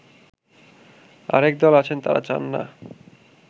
আরেক দল আছেন তারা চাননা